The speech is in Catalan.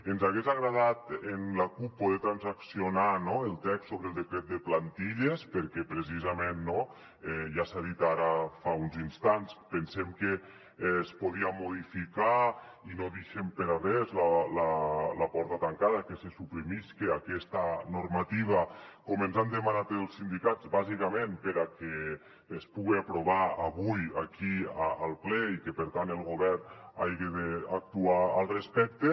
ens hagués agradat amb la cup poder transaccionar el text sobre el decret de plantilles perquè precisament no ja s’ha dit ara fa uns instants pensem que es podia modificar i no deixem per a res la porta tancada que se suprimisca aquesta normativa com ens han demanat els sindicats bàsicament perquè es puga aprovar avui aquí al ple i que per tant el govern hagi d’actuar al respecte